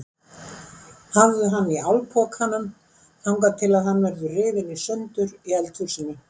Hafðu hann í álpokanum þangað til að hann verður rifinn í sundur í eldhúsinu.